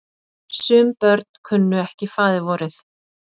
Sum börn kunnu ekki faðirvorið.